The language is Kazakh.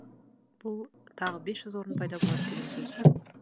бұл тағы бес орын пайда болады деген сөз